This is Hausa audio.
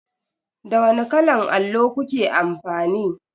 Da wani kalan allo kuke amfani?